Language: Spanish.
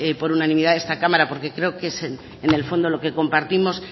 por unanimidad en esta cámara porque creo que es en el fondo lo que compartimos